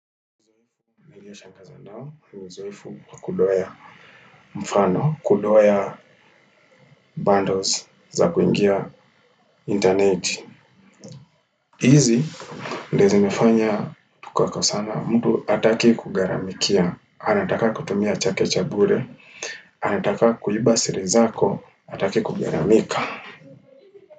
Naingi ya shanga za no, ni uzoefu wa kudoea mfano, kudoea bundles za kuingia internet. Hizi, ndizo zimefanya, tukakosana, mtu ataki kugaramikia, anataka kutumia chake cha bure, anataka kuiba siri zako, ataki kugaramika.